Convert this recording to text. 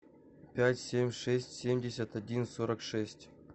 пять семь шесть семьдесят один сорок шесть